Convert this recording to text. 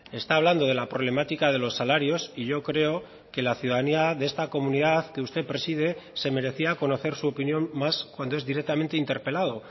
está hablando de la problemática de los salarios y yo creo que la ciudadanía de esta comunidad que usted preside se merecía conocer su opinión más cuando es directamente interpelado